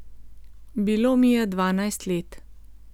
Bilo mi je dvanajst let.